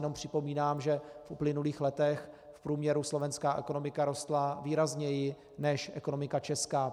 Jenom připomínám, že v uplynulých letech v průměru slovenská ekonomika rostla výrazněji než ekonomika česká.